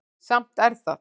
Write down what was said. Samt er það